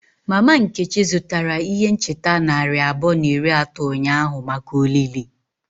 Mama Nkechi zụtara ihe ncheta narị abụọ na iri atọ ụnyahụ maka olili.